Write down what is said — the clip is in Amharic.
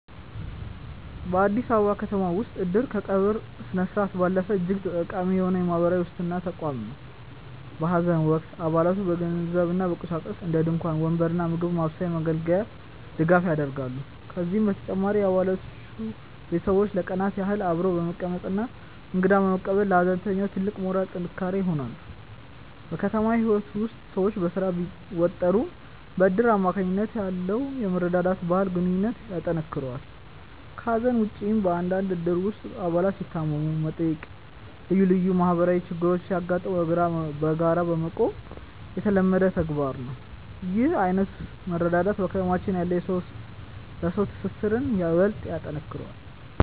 በአዲስ አበባ ከተማ ውስጥ "እድር" ከቀብር ስነስርዓት ባለፈ እጅግ ጠቃሚ የሆነ የማህበራዊ ዋስትና ተቋም ነው። በሐዘን ወቅት አባላቱ በገንዘብና በቁሳቁስ (እንደ ድንኳን፣ ወንበር እና የምግብ ማብሰያ መገልገያዎች) ድጋፍ ያደርጋሉ። ከዚህም በተጨማሪ የአባላቱ ቤተሰቦች ለቀናት ያህል አብረው በመቀመጥና እንግዳ በመቀበል ለሐዘንተኛው ትልቅ የሞራል ጥንካሬ ይሆናሉ። በከተማ ህይወት ውስጥ ሰዎች በስራ ቢወጠሩም፣ በእድር አማካኝነት ያለው የመረዳዳት ባህል ግንኙነታችንን ያጠናክረዋል። ከሐዘን ውጭም፣ በአንዳንድ እድሮች ውስጥ አባላት ሲታመሙ መጠየቅና ልዩ ልዩ ማህበራዊ ችግሮች ሲያጋጥሙ በጋራ መቆም የተለመደ ተግባር ነው። ይህ ዓይነቱ መረዳዳት በከተማችን ያለውን የሰው ለሰው ትስስር ይበልጥ ያጠነክረዋል።